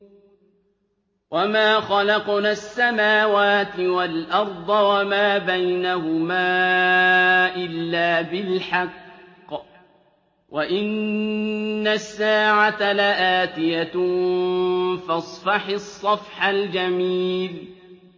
وَمَا خَلَقْنَا السَّمَاوَاتِ وَالْأَرْضَ وَمَا بَيْنَهُمَا إِلَّا بِالْحَقِّ ۗ وَإِنَّ السَّاعَةَ لَآتِيَةٌ ۖ فَاصْفَحِ الصَّفْحَ الْجَمِيلَ